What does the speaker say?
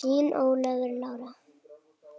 Þín Ólöf Lára.